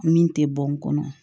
Min tɛ bɔ n kɔnɔ